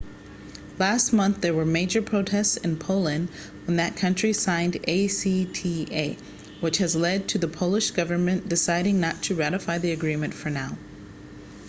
last month there were major protests in poland when that country signed acta which has led to the polish government deciding not to ratify the agreement for now